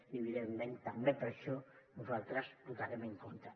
i evidentment també per això nosaltres hi votarem en contra